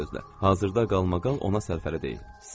Bir sözlə, hazırda qalmaqal ona sərfəli deyil.